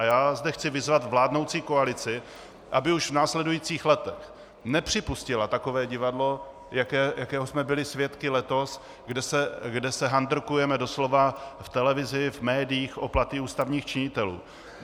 A já zde chci vyzvat vládnoucí koalici, aby už v následujících letech nepřipustila takové divadlo, jakého jsme byli svědky letos, kde se handrkujeme doslova v televizi, v médiích o platy ústavních činitelů.